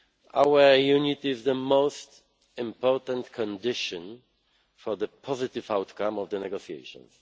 Our unity is the most important condition for a positive outcome from the negotiations.